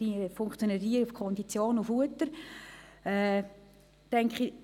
Dieser ist ja meines Wissens auf Konditionierung und Futter konzentriert.